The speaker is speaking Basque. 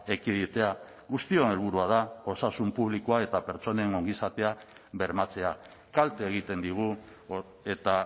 ekiditea guztion helburua da osasun publikoa eta pertsonen ongizatea bermatzea kalte egiten digu eta